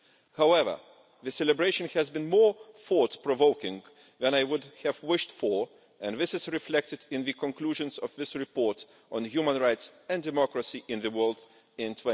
However, the celebration has been more thought provoking than I would have wished for, and this is reflected in the conclusions of this report on human rights and democracy in the world in